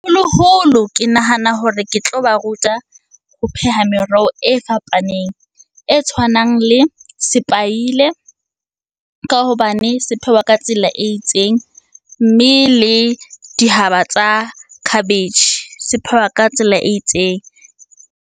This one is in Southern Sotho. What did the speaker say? Ke nahana hore ke tlo ba ruta ho pheha meroho e fapaneng. E tshwanang le sepaile, ka hobane se phehwa ka tsela e itseng. Mme le dihaba tsa khabetjhe, se phehwa ka tsela e itseng.